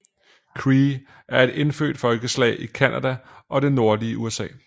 Cree er et indfødt folkeslag i Canada og det nordlige USA